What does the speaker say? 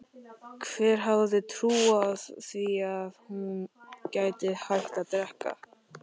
Hver hefði trúað því að hún gæti hætt að drekka?